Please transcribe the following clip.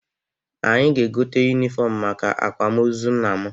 Anyị ga-egote yunifọmụ maka akwamozu nna m.